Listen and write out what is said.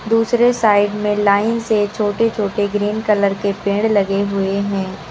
दूसरे साइड में लाइन से छोटे छोटे ग्रीन कलर के पेड़ लगे हुए हैं।